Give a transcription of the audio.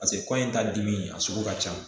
Paseke kɔɲɔ ta dimi a sugu ka ca